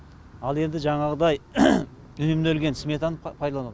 ал енді жаңағыдай үнемделген сметаны пайдаланады